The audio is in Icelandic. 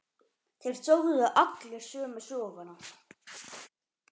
Þeir sögðu allir sömu söguna.